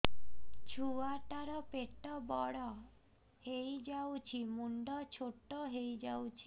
ଛୁଆ ଟା ର ପେଟ ବଡ ହେଇଯାଉଛି ମୁଣ୍ଡ ଛୋଟ ହେଇଯାଉଛି